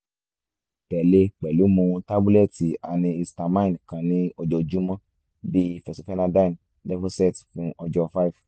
tẹle pẹlu mu tabulẹti antihistamine kan ni ojoojumọ bii fexofenadine levocet fun ọjọ six